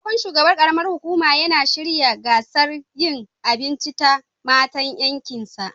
Sabon shugaban karam ar hukumar yana shirya gasar yinn abinci ta matan yankin sa